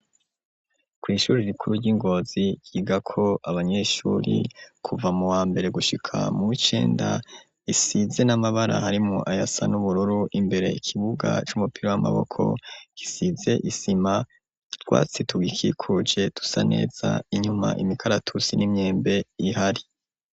Kw'ishuri rikuru ry'ingozi yiga ko abanyeshuri kuva mu wa mbere gushika mu icenda isize n'amabara harimu ayasa n'ubururu imbere ikibuga c'umupira w'amaboko gisize isima rwatsitug ikikuje tusaneza inyuma imikaratusi n'imyembe ihari.